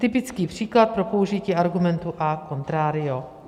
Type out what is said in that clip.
Typický příklad pro použití argumentu a contrario.